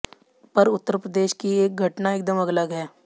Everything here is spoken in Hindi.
पर उत्तर प्रदेश की एक घटना एकदम अलग है